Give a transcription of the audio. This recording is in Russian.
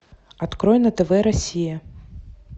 открой на тв россия